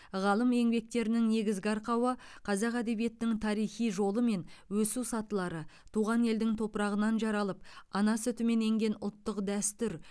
ғалым еңбектерінің негізгі арқауы қазақ әдебиетінің тарихи жолы мен өсу сатылары туған елдің топырағынан жаралып ана сүтімен енген ұлттық дәстүр